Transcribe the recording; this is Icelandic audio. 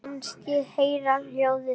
Mér fannst ég heyra hljóð.